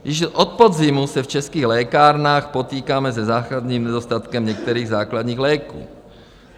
Již od podzimu se v českých lékárnách potýkáme se základním nedostatkem některých základních léků.